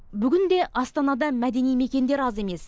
бүгінде астанада мәдени мекендер аз емес